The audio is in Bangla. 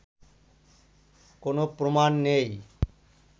কোনো প্রমাণ নেই